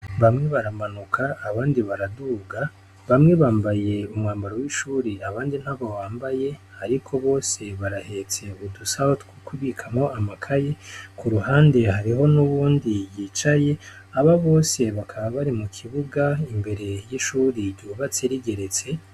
Bamwe baramanuka abandi baraduga bamwe bambaye umwambaro wishure abandi ntawo bambaye ariko bose barahetse udusaho two kubikamo amakaye kuruhande hariho nuwundi yicaye abo bose bakaba bari mukibuga imbere yishure ryubatse rigeretse.